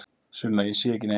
Sunna: Ég sé ekki neitt.